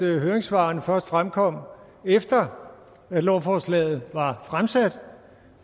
høringssvarene først fremkom efter at lovforslaget var fremsat